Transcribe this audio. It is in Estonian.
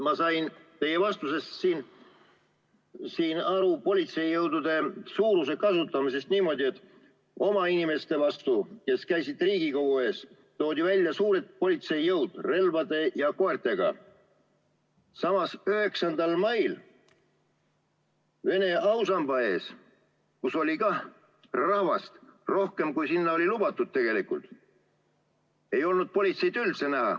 Ma sain teie vastusest politseijõudude suuruse ja kasutamise kohta aru niimoodi, et oma inimeste vastu, kes käisid Riigikogu ees, toodi välja suured politseijõud relvade ja koertega, samas 9. mail Vene ausamba ees, kus oli ka rahvast rohkem, kui sinna oli lubatud, ei olnud politseid üldse näha.